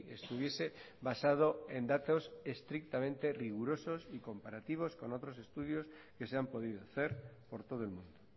estuviese basado en datos estrictamente rigurosos y comparativos con otros estudios que se han podido hacer por todo el mundo